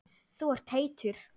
Þú ert heitur.